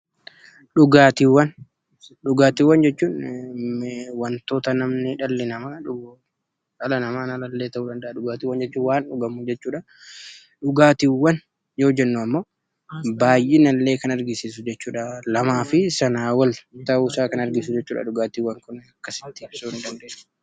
Dhugaatiiwwan jechuun wantoota dhalli namaa yookiin dhala namaa kan hin taane dhugu jechuudha. Dhugaatiiwwan jechuun baay'ina kan agarsiisu yookiin dhugaatii gosa lamaa fi isaa ol ta'uu kan danda'udha.